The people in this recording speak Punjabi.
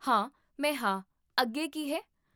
ਹਾਂ, ਮੈਂ ਹਾਂ, ਅੱਗੇ ਕੀ ਹੈ?